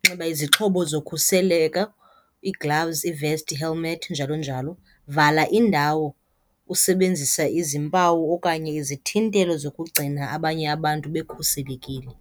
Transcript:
Nxiba izixhobo zokhuseleko, ii-gloves, i-vest, i-helmet njalo njalo. Vala indawo usebenzisa izimpawu okanye izithintelo zokugcina abanye abantu bekhuselekile.